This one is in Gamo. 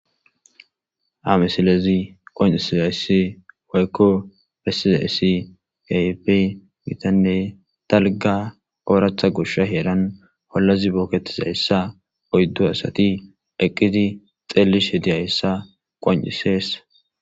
Haa mesilezi qon7isizayssi waykko pessizayssi gayp gitanne talga ooratha gusha heeran hollazi booketisayssa oyddu asati eqqiti xeelishe di hayssa qon7iseessa